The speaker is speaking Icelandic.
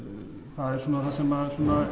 það er það sem